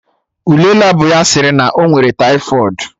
Ule Labụ ya sịrị na ọ nwere taifọịd